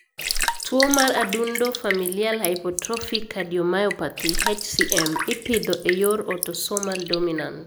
Tuwo mar adundo (Familial hypertrophic cardiomyopathy) (HCM) ipidho e yor autosomal dominant.